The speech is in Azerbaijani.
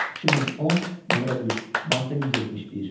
2010, nömrə 3, maddə 171.